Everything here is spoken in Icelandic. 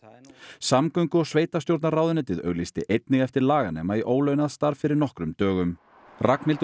samgöngu og sveitarstjórnarráðuneytið auglýsti einnig eftir laganema í ólaunað starf fyrir nokkrum dögum Ragnhildur